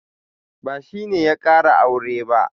Ba shi ne ya ƙara aure ba.